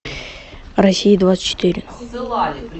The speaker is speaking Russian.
россия двадцать четыре